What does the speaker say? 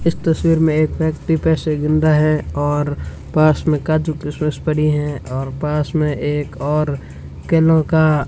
इस तस्वीर में एक व्यक्ति पैसे गिन रहा है और पास में काजू-किशमिस पड़ी है और पास में एक और कैनो का --